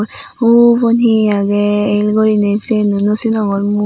ubon he agey el gurinei sieno no sinongor mui.